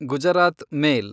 Gujarat ಮೇಲ್